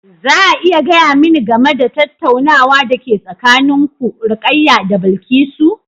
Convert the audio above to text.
Za a iya gaya mani game da tattaunawar da ke tsakanin ku, Rukaya da Bilkisu?